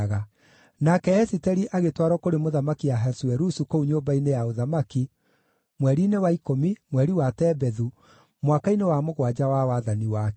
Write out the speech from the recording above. Nake Esiteri agĩtwarwo kũrĩ Mũthamaki Ahasuerusu kũu nyũmba-inĩ ya ũthamaki mweri-inĩ wa ikũmi, mweri wa Tebethu, mwaka-inĩ wa mũgwanja wa wathani wake.